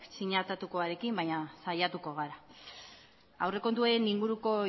sinatutakoarekin baina saiatuko gara aurrekontuen inguruko